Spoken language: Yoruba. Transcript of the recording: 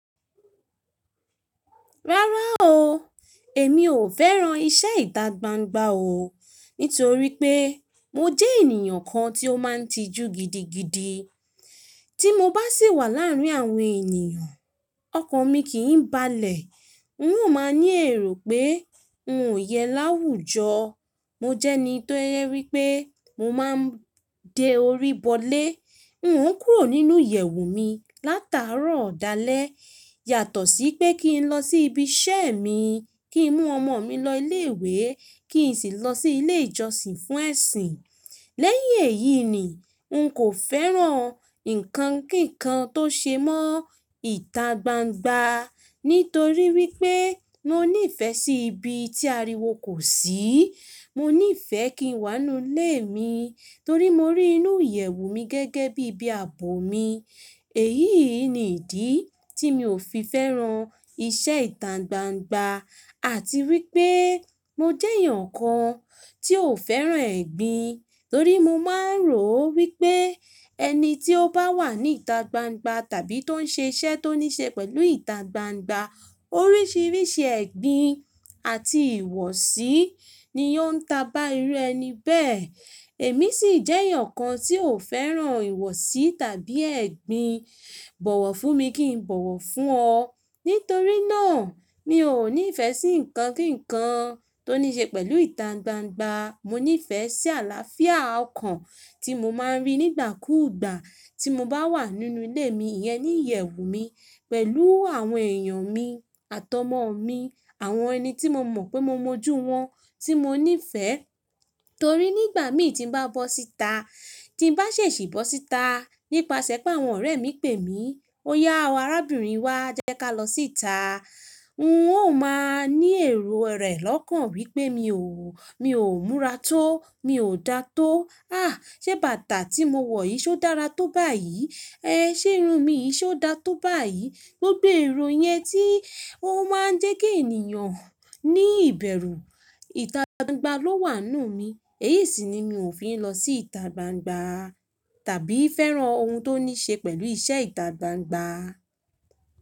Rárá o, èmi ò fẹ́ran iṣẹ́ ìta gbangba o, nítorí pé mo jẹ́ ènìyàn kan tí ó máa ń tijú gidigidi. Tí mo bá sì wà láàárín àwọn ènìyàn, ọkàn mi kì ń balẹ̀. N ó máa ń ní èrò pé n ò yẹ láwùjọ. Mo jẹ́ ẹni tó yẹ wipé mo máa ń de orí bọ ilé. N ó ń kúrò nínú ìyẹ̀wù mi látàárọ̀ dálẹ̀, yàtọ̀ sí pé kí n lọ sí ibi iṣẹ́ mi, kí n mú ọmọ mi lọ ilé ìwé, kí n sì lọ sí ilé ìjọsìn fún ẹ̀sìn. Lẹ́yìn èyí ni, n kò fẹ́ran ǹkan kíǹkan tó ṣe mọ́ ìta gbangba, nítorí wípé mo ní ìfẹ́ sí ibi tí ariwo kò sí. Mo ní ìfẹ́ kí n wà nínú ilé mi, torí mo rí inú ìyẹ̀wù mi gẹ́gẹ́ bí ibi àbò mi. Èyí ni ìdí tí mi ò fi fẹ́ran iṣẹ́ ìta gbangba, àti wípé mo jẹ́ èèyàn kan tí ò fẹ́ran ẹgbin, torí mo máa ń rò wípé ẹni tí ó bá wà ní ìta gbangba tàbí tó ń ṣe iṣẹ́ tó ní ṣe pẹ̀lú ìta gbangba, oríṣiríṣi ẹgbin àti ìwọsí ni ó ń ta bá irú ẹni bẹ́ẹ̀. Èmi sì jẹ́ èèyàn kan tí ò fẹ́ran ìwọsí tàbí ẹgbin. Bọ̀wọ̀ fún mi kì í bọ̀wọ̀ fún ọ. Nítorí náà, mi ò ní ìfẹ́ sí ǹkan kíǹkan tó ní ṣe pẹ̀lú ìta gbangba. Mo ní ìfẹ́ sí àlàáfíà ọkàn tí mo máa ń rí nígbà kúùgbà tí mo bá wà nínú ilé mi, ìyẹ́ ní ìyẹ̀wù mi pẹ̀lú àwọn èèyàn mi àti ọmọ mi, àwọn ẹni tí mo mọ̀ pé mo mọ́jú wọn, tí mo ní ìfẹ́. Torí nígbà mí tí ń bá bọ́ síta, tí ń bá ṣèṣì bọ́ síta nípasẹ̀ pé àwọn ọ̀rẹ́ mi pè mí, "Oya o arábìnrin wá, jẹ́ ká lọ sí ita." N ó máa ń ní èrò rẹ̀ lọ́kàn wípé mi ò, mi ò múra tó, mi ò dá tó. À, ṣé bàtà tí mo wọ̀ yí ṣó dára tó báyìí? Ẹ ṣé irun mi yí ṣó dá tó báyìí? Gbogbo èrò yẹn tí ó máa ń jẹ́ kí ènìyàn ní ìbẹ̀rù. Ìta gbangba ló wà nùú mi. Èyí sì ni mi ò fi ń lọ sí ìta gbangba tàbí fẹ́ran ohun tó ní ṣe pẹ̀lú iṣẹ́ ìta gbangba.